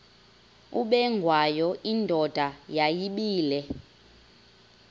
ubengwayo indoda yayibile